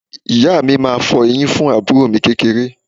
Ìyá mi máa fọ eyín fún àbúrò mi kékeré